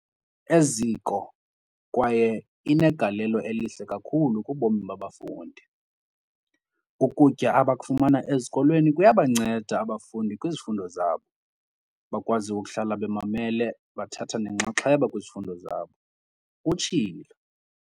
"eziko kwaye inegalelo elihle kakhulu kubomi babafundi. Ukutya abakufumana esikolweni kuyabanceda abafundi kwizifundo zabo, bakwazi ukuhlala bemamele bethatha nenxaxheba kwizifundo zabo," utshilo.